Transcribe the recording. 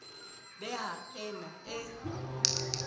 be ha e ne e